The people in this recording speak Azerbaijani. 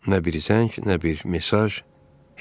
Nə bir zəng, nə bir mesaj, heç nə.